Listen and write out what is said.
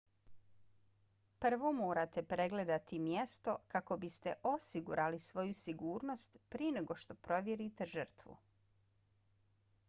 prvo morate pregledati mjesto kako biste osigurali svoju sigurnost prije nego što provjerite žrtvu